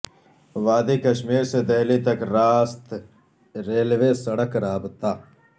وادی کشمیر سے دہلی تک راست ریلوے سڑک رابطہ